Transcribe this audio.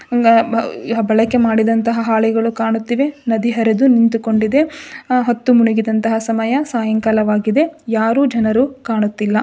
ಬಳಕೆ ಮಾಡಿದಂತಹ ಹಾಳೆಗಳು ಕಾಣುತ್ತಿವೆ ನದಿ ಹರಿದು ನಿಂತುಕೊಂಡಿದೆ ಹೊತ್ತು ಮುಣಗಿದಂತಹ ಸಮಯ ಸಾಯಂಕಾಲವಾಗಿದೆ ಯಾರು ಜನರು ಕಾಣುತ್ತಿಲ್ಲ.